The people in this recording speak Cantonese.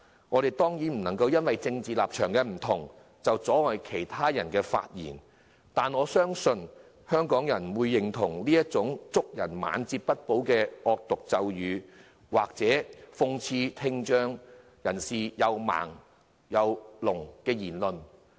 我們不能夠因為政治立場不同就阻止其他人發言，我相信香港人不會認同祝賀人"晚節不保"的惡毒咒語，或諷刺聽障人士"又盲又聾"之類的言論。